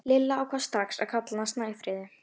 Lilla ákvað strax að kalla hana Snæfríði.